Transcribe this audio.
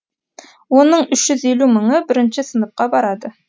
оның үш жүз елу мыңы бірінші сыныпқа барады